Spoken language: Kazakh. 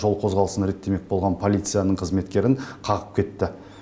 жол қозғалысын реттемек болған полицияның қызметкерін қағып кетті